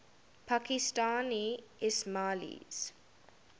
pakistani ismailis